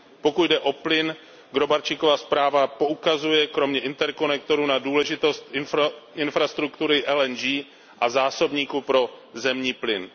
Pokud jde o plyn, Gróbarczykova zpráva poukazuje, kromě interkonektorů, na důležitost infrastruktury LNG a zásobníků pro zemní plyn.